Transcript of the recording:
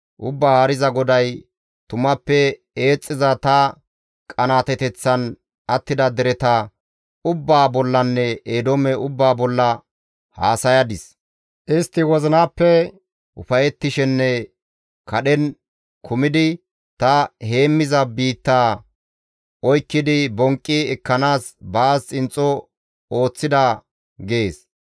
Ubbaa Haariza GODAY, ‹Tumappe eexxiza ta qanaateteththan attida dereta ubbaa bollanne Eedoome ubbaa bolla haasayadis. Istti wozinappe ufayettishenne kadhen kumidi ta heemmiza biitta oykkidi bonqqi ekkanaas baas xinxxo ooththida› gees.